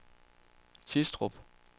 Tistrup